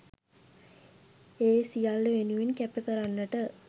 ඒ සියල්ල වෙනුවෙන් කැප කරන්නට